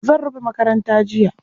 Zan rufe makaranta jiya.